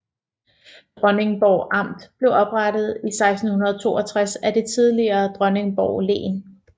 Dronningborg Amt blev oprettet i 1662 af det tidligere Dronningborg Len